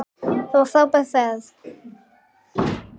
Það var frábær ferð.